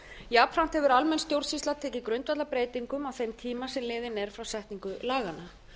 jafnframt hefur almenn stjórnsýsla tekið grundvallarbreytingum á þeim tíma sem liðinn er frá setningu laganna